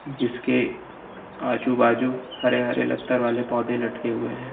जिसके आजू बाजू हरे हरे लत्तर वाले पौधे लटके हुए हैं।